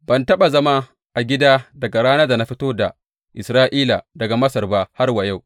Ban taɓa zama a gida daga ranar da na fito da Isra’ila daga Masar ba har wa yau.